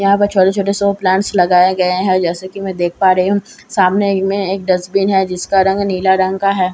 यहां पर छोटे छोटे शो प्लांट्स लगाए गए हैं जैसे कि मैं देख पा रही हूं सामने मैं एक डस्टबिन है जिसका रंग नीला रंग का है।